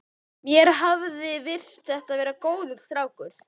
Mér hafði virst þetta vera góður strákur.